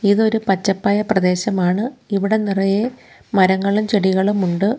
ഇതൊരു പച്ചപ്പായ പ്രദേശമാണ് ഇവിട നിറയെ മരങ്ങളും ചെടികളും ഉണ്ട്.